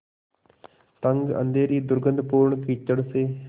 तंग अँधेरी दुर्गन्धपूर्ण कीचड़ से